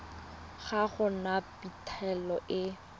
ga go na phitlho e